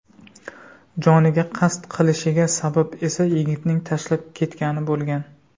Joniga qasd qilishiga sabab esa yigitining tashlab ketgani bo‘lgan.